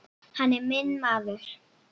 Hann er minn maður.